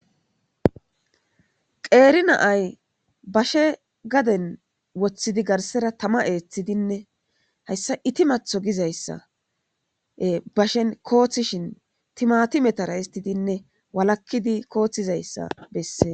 Qeri na'iyi bashe gaden wotidi garisera tama etidinne hayisa itimato gidizayisa bashen kosishin timatimetara histidinne walakidi kosidayisa besees